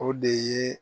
O de ye